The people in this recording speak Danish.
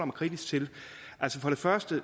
kritisk til altså først og